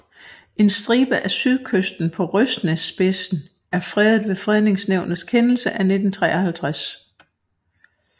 En stribe af sydkysten på Røsnæsspidsen er fredet ved Fredningsnævnets kendelse af 1953